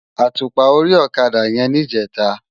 Átúpá óri òkadá yèn nijètá